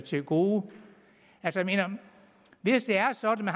til gode hvis det er sådan at